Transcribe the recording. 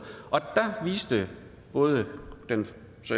og der viste både den